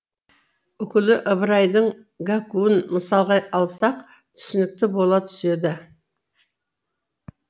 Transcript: үкілі ыбырайдың гәккуін мысалға алсақ түсінікті бола түседі